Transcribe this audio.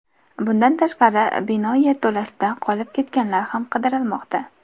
Bundan tashqari, bino yerto‘lasida qolib ketganlar ham qidirilmoqda.